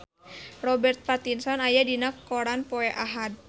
Robert Pattinson aya dina koran poe Ahad